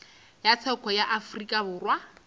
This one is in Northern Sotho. ya tsheko ya afrika borwa